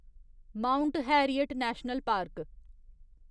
mount Harriet National park